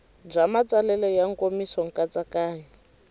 bya matsalelo ya nkomiso nkatsakanyo